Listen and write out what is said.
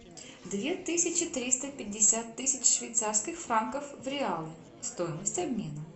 две тысячи триста пятьдесят тысяч швейцарских франков в реалы стоимость обмена